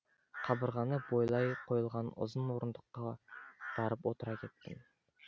қабырғаны бойлай қойылған ұзын орындыққа барып отыра кеттім